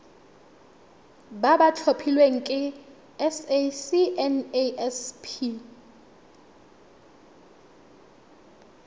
ba ba tlhophilweng ke sacnasp